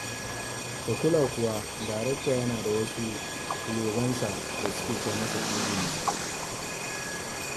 Ka kula kuwa darakta yana da wasu fulogansa da suke kai masa tsegungumi?